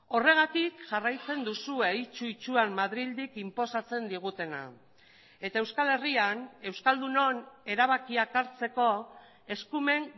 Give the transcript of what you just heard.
horregatik jarraitzen duzue itsu itsuan madrildik inposatzen digutena eta euskal herrian euskaldunon erabakiak hartzeko eskumen